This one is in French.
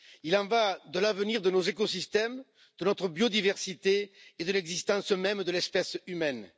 Il y va de l'avenir de nos écosystèmes, de notre biodiversité et de l'existence même de l'espèce humaine.